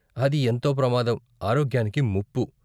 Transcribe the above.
అది ఎంతో ప్రమాదం, ఆరోగ్యానికి ముప్పు.